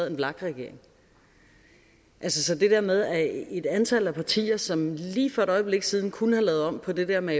en vlak regering så det der med at et antal af partier som indtil lige for et øjeblik siden kunne have lavet om på det der med